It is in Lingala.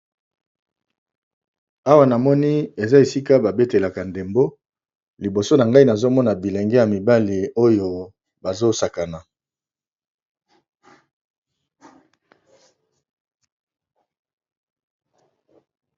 Awa na moni eza esika babetelaka ndembo liboso na ngai nazomona bilenge ya mibale oyo bazosakana.